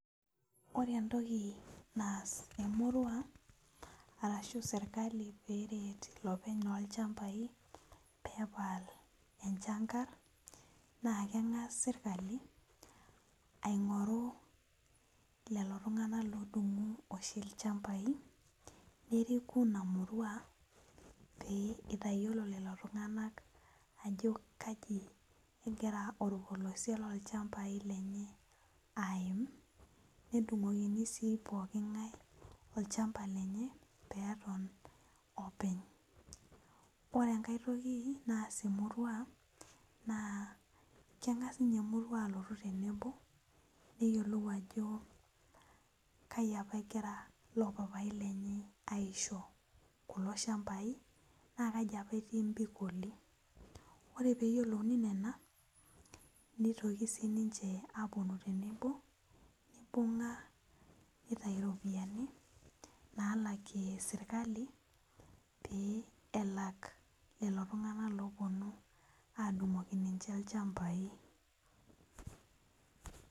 Ore entokibanas emurua ashu serkali peret lopeny ilchambai pepal emchangar na kengas serkali aingoru lelo tunganak oshibodungu lchambai nitayiolo lolotunganak ajo kai ebaki orpolese lolchabai lenye aim nedungokini sii pooki ngae olchamba lenye peton openy ore enkae toki naas emurua na kengas ninye emurua alotu tenebo neyiolou ajo kai apa egira lopapai lenye aisho kulo shambai na Kai apa tii mpikoti ore peyiolouni nena nitoki sininche aponu tenebo nitau iropiyiani pelak lolo tunganak oponu adungoki ninche lchambai.